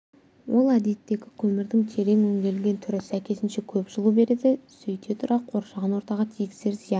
ол әдеттегі көмірдің терең өңделген түрі сәйкесінше көп жылу береді сөйте тұра қоршаған ортаға тигізер зияны